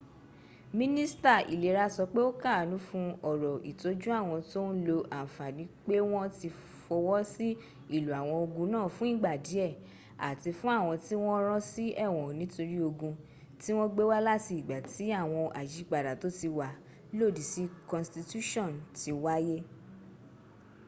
minista ilera so pe o kaanu fun oro itoju awon to n lo anfani pe won ti fowo si ilo awon ogun naa fun igba die ati fun awon ti won ran si ewon nitori ogun ti won gbe wa lati igba ti awon ayipada to ti wa lodi si konstitution ti waye